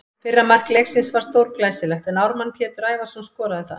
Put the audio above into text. Fyrra mark leiksins var stórglæsilegt en Ármann Pétur Ævarsson skoraði það.